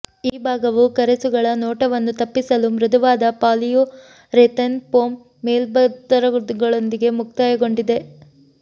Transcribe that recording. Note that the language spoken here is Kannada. ಈ ಭಾಗವು ಕರೆಸುಗಳ ನೋಟವನ್ನು ತಪ್ಪಿಸಲು ಮೃದುವಾದ ಪಾಲಿಯುರೆಥೇನ್ ಫೋಮ್ ಮೇಲ್ಪದರಗಳೊಂದಿಗೆ ಮುಕ್ತಾಯಗೊಂಡಿದೆ